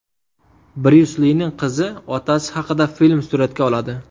Bryus Lining qizi otasi haqida film suratga oladi.